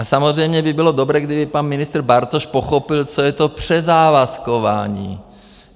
A samozřejmě by bylo dobré, kdyby pan ministr Bartoš pochopil, co je to přezávazkování.